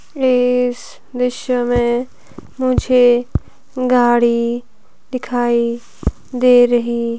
इस दृश्य में मुझे गाड़ी दिखाई दे रही--